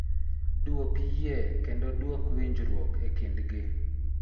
Dwok yie kendo duok winjruok e kindgi.